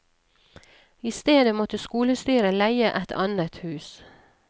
I stedet måtte skolestyret leie et annet hus.